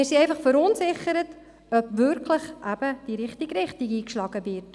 Wir sind darüber verunsichert, ob wirklich die richtige Richtung eingeschlagen wurde.